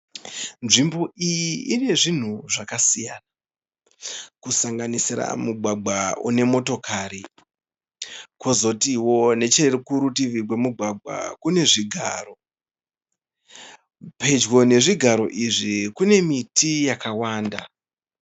Nzvimbo iyi ine zvinhu zvakasiyana, kusanganisira mugwagwa une motokari, kozotiwo nechekurutivi kwemugwagwa kune zvigaro, pedyo nezvigaro izvi kune miti yakawanda.